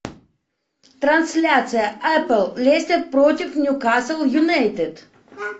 трансляция апл лестер против ньюкасл юнайтед